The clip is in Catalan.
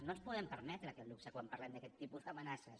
no ens podem permetre aquest luxe quan parlem d’aquest tipus d’amenaces